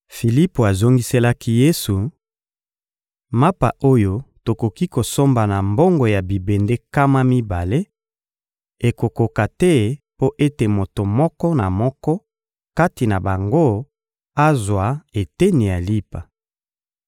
Filipo azongiselaki Yesu: — Mapa oyo tokoki kosomba na mbongo ya bibende nkama mibale ekokoka te mpo ete moto moko na moko kati na bango azwa eteni ya lipa!